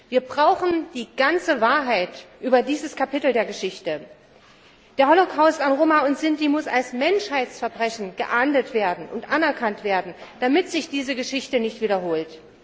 Wir brauchen die ganze Wahrheit über dieses Kapitel der Geschichte. Der Holocaust an Roma und Sinti muss als Menschheitsverbrechen geahndet und anerkannt werden, damit sich diese Geschichte nicht wiederholt.